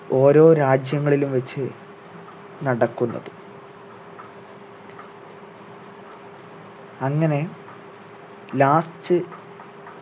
ഓരോ രാജ്യങ്ങളിലും വെച്ച് നടക്കുന്നത് അങ്ങനെ last